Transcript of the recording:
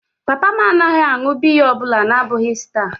Papa m anaghị aṅụ biya ọ bụla na-abụghị Star.